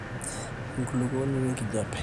enkulukuoni wenkijape